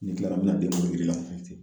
Ni n tilara b bi na den